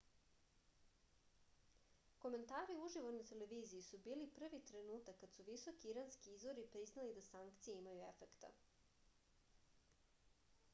komentari uživo na televiziji su bili prvi trenutak kad su visoki iranski izvori priznali da sankcije imaju efekta